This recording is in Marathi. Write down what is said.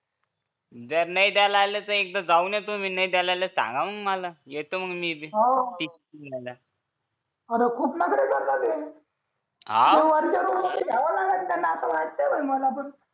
जर नाय द्यायला आले तर एकदा जाऊन येतो मी नाही द्यायला आणि सांगा मग मला येतो बी डबा द्यायला अरे खोन कडे हा वरच्या रूम मध्ये द्यावं लागेल त्यांना असं वाटतंय मला पण